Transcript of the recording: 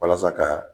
Walasa ka